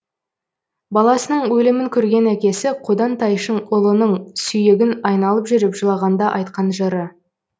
баласының өлімін көрген әкесі қодан тайшын ұлының сүйегін айналып жүріп жылағанда айтқан жыры